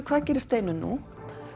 hvað gerir Steinunn nú